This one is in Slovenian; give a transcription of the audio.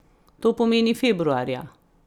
To pomeni februarja.